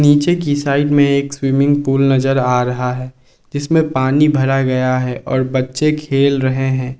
नीचे की साइड में एक स्विमिंग पूल नजर आ रहा है जिसमें पानी भर गया है और बच्चे खेल रहे हैं।